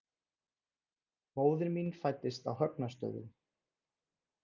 Móðir mín fæddist á Högna- stöðum.